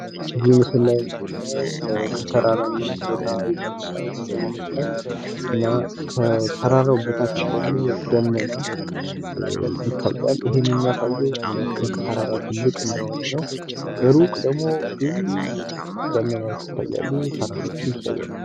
እዚህ ምስል ላይ የምናየው ከተራራማ የተነሳ ስዕል ይመስላል እና ከተራራው በታች ደግሞ ደመና ይታያል:: ይሄም የሚያሳየው ምን ያክል ተራራው ትልቅ እንደሆነ ነው ከሩቅ ደግሞ ብዙ ደመናዎች ይታያሉ ተራራዎች ይታያሉ::